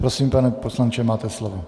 Prosím, pane poslanče, máte slovo.